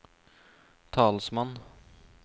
talsmann